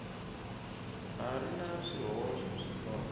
ha ri na swihoxo switsongo